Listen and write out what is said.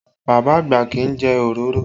Bàbá àgbà kì í jẹ òróró